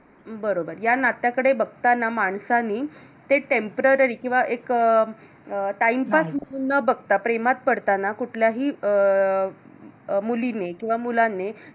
बरोबर या नात्याकडे बघताना माणसाने ते Temporary किंवा एक अं Timepass म्हणून न न बघता प्रेमात पडतांना कुठल्याही अं मुलीने किंवा मुलाने